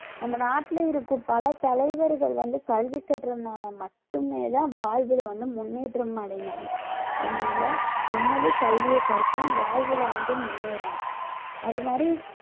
நம்ம நாட்டுல இருக்கும் பல தலைவர்கள் வந்து கல்வி கற்றதினால மட்டுமே தான் வாழ்வில வந்து முன்னேற்றம் அடைந்தாங்க அதனால நம்மளும் கல்வியைக் கற்போம் வாழ்வில வந்து முன்னேறணும் அது மாதிரி